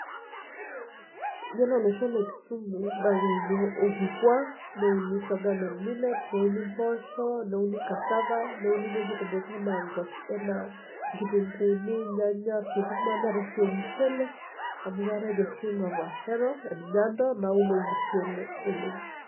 Iyiolo olosho le Kisumu naa keuni orkikuaa, neuni sorghum and millet neuni impoosho, neuni[cassava neuni vegetables enaa inkitunguuni, irnyanya, sukuma neetae sii ormushele, amuu keetae The scheme of Ahero and Nyando nauun ormushele oleng.